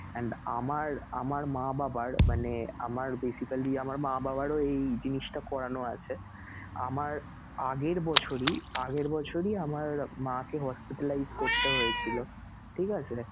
and আমার আমার মা বাবার মানে আমার basically আমার মা বাবারও এই জিনিসটা করানো আছেআমার আগের বছরই আগের বছরই আমার মাকে hospitalize করতে হয়েছিলো, ঠিক আছে?